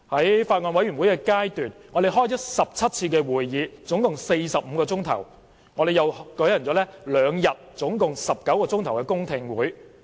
在法案委員會階段，我們召開了17次共45小時的會議，亦舉行了兩天共19小時的公聽會。